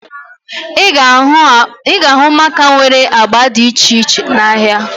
Ị ga-ahụ maaka nwere agba dị iche iche n'ahia